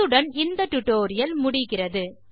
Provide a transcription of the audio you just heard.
இத்துடன் டியூட்டோரியல் முடிகிறது